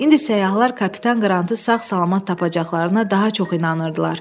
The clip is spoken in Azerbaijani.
İndi səyyahlar kapitan Qrantı sağ-salamat tapacaqlarına daha çox inanırdılar.